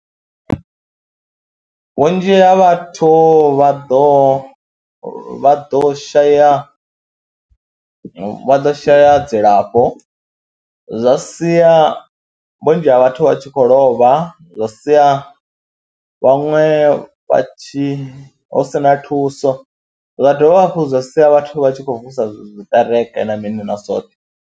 Vhunzhi ha vhathu vha ḓo vha ḓo shaya, vha ḓo shaya dzilafho zwa sia vhunzhi ha vhathu vha tshi khou lovha, zwa sia vhaṅwe vha tshi hu si na thuso. Zwa dovha hafhu zwa sia vhathu vha tshi khou vusa zwiṱereke na mini na zwoṱhe.